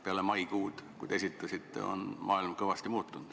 Pärast maikuud, kui te selle eelnõu esitasite, on maailm kõvasti muutunud.